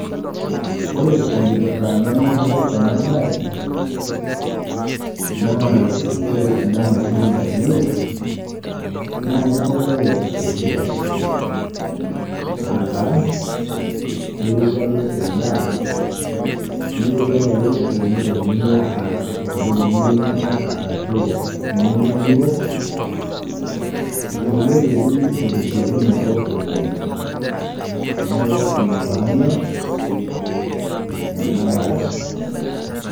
Ore enkipirta nanyorie ena bae, naa kore enda mashini nalio naa kitelelek esiai, aataa keirowuajie endaa, neirowuajie akeyie entoki pookin niyieu ninya arashu niyieu niok, teleleki otesiokinoto oleng'. Neeku ina paanyor ena bae.